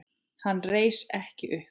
Hann reis ekki upp.